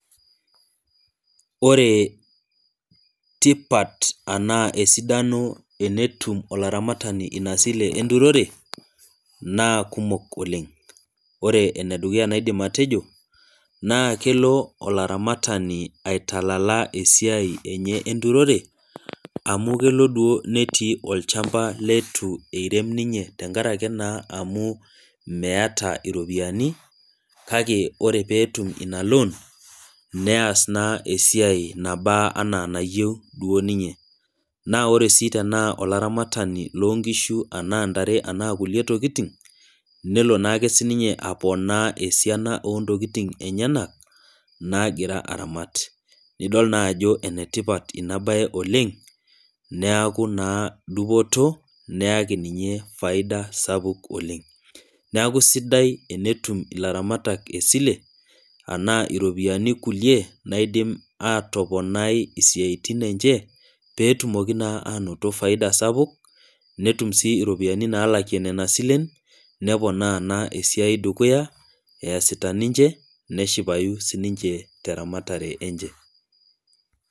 Ore tipat ashu esidano tenetum olaramatani ina sile enturore naa kumok oleng. ore ene dukuya nidim atejio naa kelo olaramatani aitalala esiai enye enturore ,amu kelelek netii duo olchampa leitu ninye eirem tenkaraki naa imeeta ropiyiani ,kake ore naa pee etum in loon nees naa esiai nana enaa enayieu duo ninye.na ore sii tenaa olaramatani loonkishu enaa ntare ena kulie tokiting, nelo naa ake siininye aponaa esiana intokiting enyenak naagira aramat. nidol naa ajo enetipat ina bae oleng ,neeku naa dupoto neyaki ninye faida sapuk oleng .neeku sidai tenetum ilaramatak esile enaa ropiyiani kulie niadim aatoponai siatin enche pee etumoki anoto faida sapuk netum sii ropiyiani naalaki ena kuliesilen ,neponaa naa esiai dukuya esita ninche neshipayu tenaramatare enche.